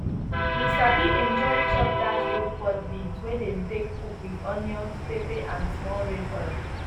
we sabi enjoy chop dat rope pod beans wey dem take cook with onions pepper and small red oil